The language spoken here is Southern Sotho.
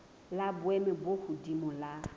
la boemo bo hodimo la